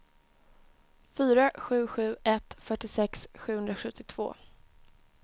fyra sju sju ett fyrtiosex sjuhundrasjuttiotvå